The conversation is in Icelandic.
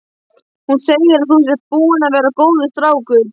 Hún segir að þú sért búinn að vera góður strákur.